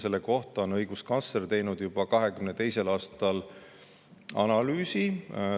Selle kohta on õiguskantsler teinud juba 2022. aastal analüüsi.